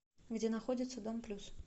где находится дом плюс